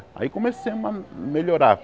Aí começamos a melhorar.